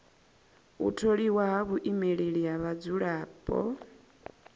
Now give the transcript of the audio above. u tholiwa ha muimeleli wa vhadzulapo